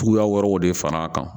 Cogoya wɛrɛw de far'a kan